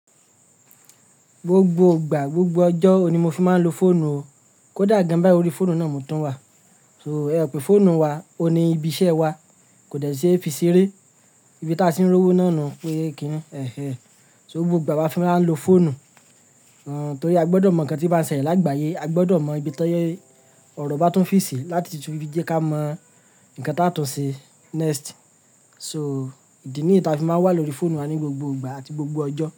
Gbogbo ìgbà, gbogbo ọjọ́ oun ni mo fi máa ń lo fóònù o. Kódà gan bái, orí fóònù náà mo tún wà. So, ẹmo pé fóònù wa, òní ibi iṣẹ́ wa kò dẹ̀ síí fi sí eré. Ibi tí a tì ń rówó náà nù pé kí í, ẹhé. So gbogbo ìgbà a fi máa ń lo fóònù. Àn, torí a gbọdọ̀ mọ ǹkan tí ó bá ń ṣẹlẹ̀ lágbàáyé, a gbọdọ̀ mọ ibi tó ọ̀rọ̀ bá tún fì sí láti tuti jíjẹ kí a mọ ǹkan tá tún ṣe next. So, ìdí ní yi ìta fi máa wà lórí fóònù wa ní gbogbo ìgbà àti gbogbo ọjọ́